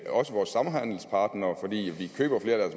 også vores samhandelspartnere fordi vi køber flere af